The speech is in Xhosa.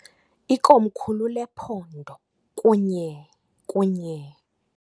Ikomkhulu lephondo, kunye, kunye.